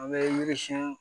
An bɛ miiri siɲɛ